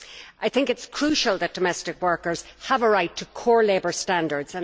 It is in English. I think it is crucial that domestic workers have a right to core labour standards.